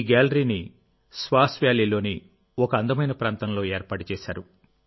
ఈ గ్యాలరీని స్వాన్ వ్యాలీలోని ఒక అందమైన ప్రాంతంలో ఏర్పాటు చేశారు